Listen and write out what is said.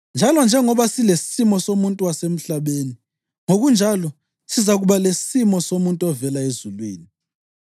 Njalo njengoba silesimo somuntu wasemhlabeni, ngokunjalo sizakuba lesimo somuntu ovela ezulwini.